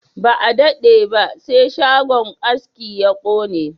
Ba a dade ba sai shagon aski ya kone